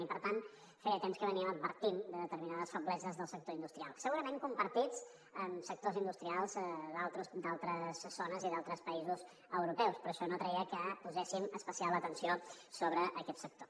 i per tant feia temps que advertíem de determinades febleses del sector industrial segurament compartides amb sectors industrials d’altres zones i d’altres països europeus però això no treia que poséssim especial atenció sobre aquest sector